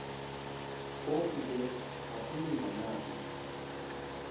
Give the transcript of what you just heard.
phofu ke akulingananga